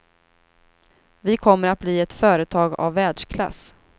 Vi kommer att bli ett företag av världsklass.